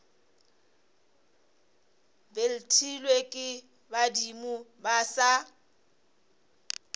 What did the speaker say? betlilwe ke badimo ba sa